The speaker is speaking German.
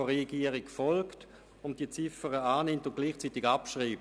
Das heisst, sie wollen diese Ziffer annehmen und gleichzeitig abschreiben.